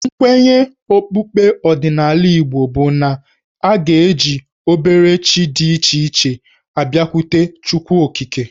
Nkwenye okpukpe ọdịnala Igbo bụ na a ga-eji obere chi dị iche iche abịakwute Chukwuokike.